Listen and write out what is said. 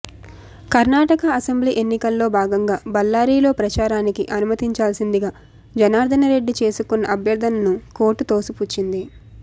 Karnataka assembly ఎన్నికల్లో భాగంగా బళ్లారిలో ప్రచారానికి అనుమతించాల్సిందిగా జనార్దనరెడ్డి చేసుకున్న అభ్యర్థనను కోర్టు తోసిపుచ్చింది